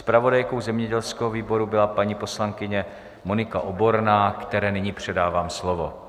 Zpravodajkou zemědělského výboru byla paní poslankyně Monika Oborná, které nyní předávám slovo.